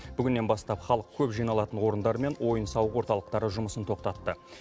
бүгіннен бастап халық көп жиналатын орындар мен ойын сауық орталықтары жұмысын тоқтатты